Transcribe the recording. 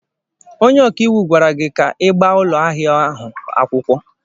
Onye ọka iwu gwara gị ka ị gbaa ụlọ ahịa ahụ akwụkwọ!